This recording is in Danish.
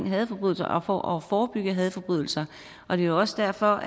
hadforbrydelser og det at forebygge hadforbrydelser og det er også derfor